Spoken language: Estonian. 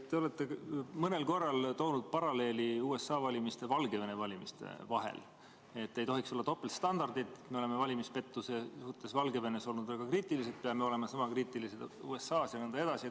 Te olete mõnel korral toonud paralleeli USA valimiste ja Valgevene valimiste vahel, et ei tohiks olla topeltstandardeid, et me oleme valimispettuse suhtes Valgevenes olnud väga kriitilised, peame olema sama kriitilised USA-s jne.